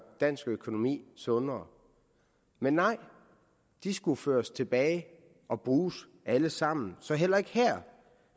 dansk økonomi sundere men nej de skulle føres tilbage og bruges alle sammen så heller ikke her